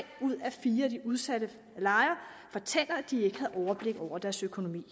ud af fire af de udsatte lejere fortæller at de ikke havde overblik over deres økonomi